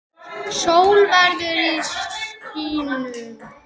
Sól veður í skýjum.